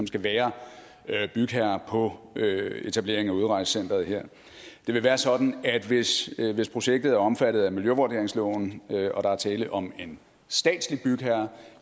skal være bygherre på etableringen af udrejsecenteret her det vil være sådan at hvis hvis projektet er omfattet af miljøvurderingsloven og der er tale om en statslig bygherre